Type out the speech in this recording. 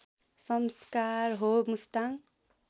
संस्कार हो मुस्ताङ